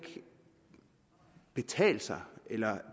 betale sig eller